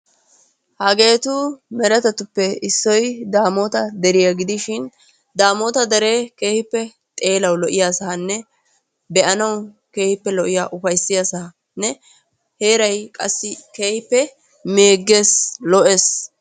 Hageetu meretatuppe issoy damoota deriya gidishin daamota deree keehippe xeelawu lo'iyaasanne be'anawu keehippe lo'iya ufayssiyasanne heeray qassi keehippe meegees lo'ees.